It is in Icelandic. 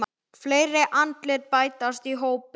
Fleiri andlit bætast í hópinn.